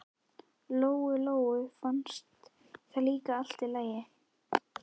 Lóu-Lóu fannst það líka allt í lagi.